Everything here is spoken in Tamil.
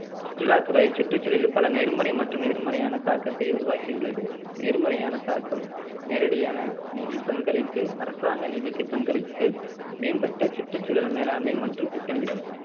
சுற்றுலாத்துறை சுற்றுச்சூழலில் பல நேர்மறை மற்றும் எதிர்மறையான தாக்கத்தை உருவாக்கியுள்ளது நேர்மறையான தாக்கம் நேரடியான நிதி பங்களிப்பு அரசாங்க நிதிக்கு பங்களிப்பு மேம்பட்ட சுற்றுச்சூழல் மேலாண்மை மற்றும் திட்டமிடல்